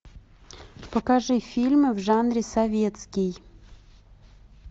покажи фильмы в жанре советский